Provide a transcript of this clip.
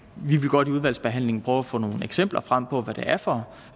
vil godt i udvalgsbehandlingen prøve at få nogle eksempler frem på hvad det er for